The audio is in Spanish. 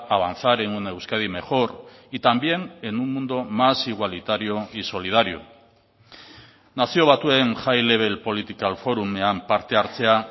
avanzar en una euskadi mejor y también en un mundo más igualitario y solidario nazio batuen high level political forumean parte hartzea